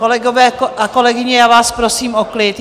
Kolegyně a kolegové, já vás prosím o klid!